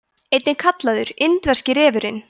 einnig kallaður indverski refurinn